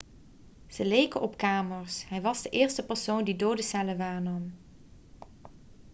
ze leken op kamers hij was de eerste persoon die dode cellen waarnam